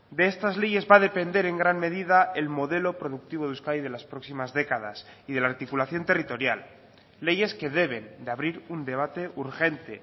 de estas leyes va a depender en gran medida el modelo productivo de euskadi de las próximas décadas y de la articulación territorial leyes que deben de abrir un debate urgente